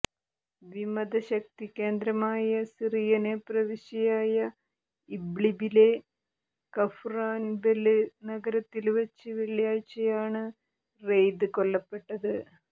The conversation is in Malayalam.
വിമത ശക്തി കേന്ദ്രമായ സിറിയന് പ്രവിശ്യയായ ഇബ്ലിബിലെ കഫ്റാന്ബെല് നഗരത്തില് വച്ച് വെള്ളിയാഴ്ചയാണ് റെയ്ദ് കൊല്ലപ്പെട്ടത്